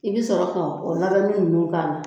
I bɛ sɔrɔ ka o labɛnni ninnu k'a la.